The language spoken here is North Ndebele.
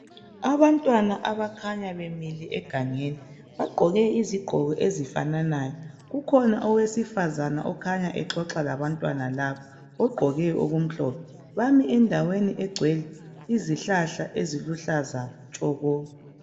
Abantwana abakhanya bemile egangeni bagqoke izigqoke ezifananayo kukhona owesifana okhanya exoxa labantwana laba ugqoke okumhlophe bami endaweni egcwele izihlahla eziluhlaza tshoko